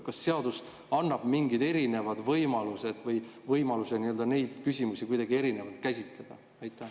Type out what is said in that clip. Kas seadus annab mingid erinevad võimalused või võimaluse neid küsimusi kuidagi erinevalt käsitleda?